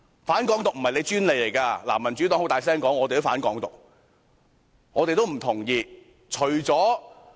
"反港獨"不是你們的專利，民主黨也理直氣壯地"反港獨"，也不同意"港獨"。